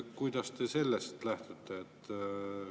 Kuidas te sellest lähtute?